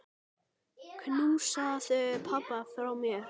Knúsaðu pabba frá mér.